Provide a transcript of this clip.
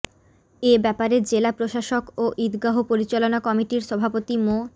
এ ব্যাপারে জেলা প্রশাসক ও ঈদগাহ পরিচালনা কমিটির সভাপতি মো